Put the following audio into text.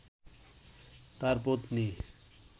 তার পত্নী